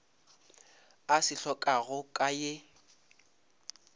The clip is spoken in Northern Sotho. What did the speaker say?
a se hlokago ka ye